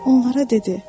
Onlara dedi.